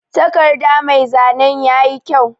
Takarɗa mai zanen yaƴi kƴau.